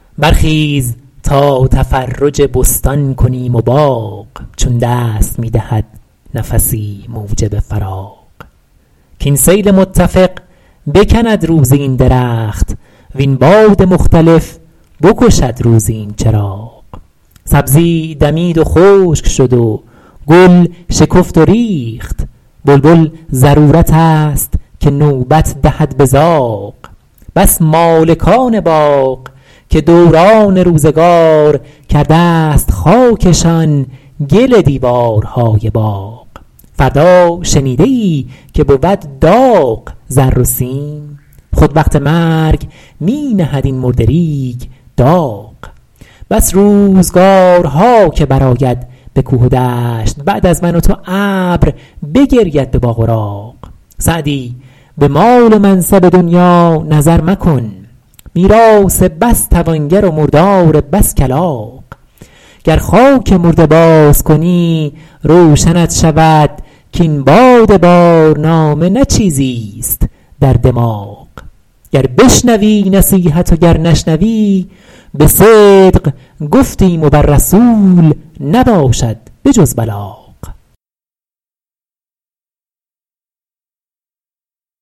برخیز تا تفرج بستان کنیم و باغ چون دست می دهد نفسی موجب فراغ کاین سیل متفق بکند روزی این درخت وین باد مختلف بکشد روزی این چراغ سبزی دمید و خشک شد و گل شکفت و ریخت بلبل ضرورت است که نوبت دهد به زاغ بس مالکان باغ که دوران روزگار کرده ست خاکشان گل دیوارهای باغ فردا شنیده ای که بود داغ زر و سیم خود وقت مرگ می نهد این مرده ریگ داغ بس روزگارها که برآید به کوه و دشت بعد از من و تو ابر بگرید به باغ و راغ سعدی به مال و منصب دنیا نظر مکن میراث بس توانگر و مردار بس کلاغ گر خاک مرده باز کنی روشنت شود کاین باد بارنامه نه چیزیست در دماغ گر بشنوی نصیحت و گر نشنوی به صدق گفتیم و بر رسول نباشد به جز بلاغ